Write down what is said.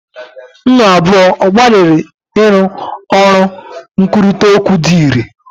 Unu abụọ gbalịrị ịrụ ọrụ nkwurịta okwu dị irè?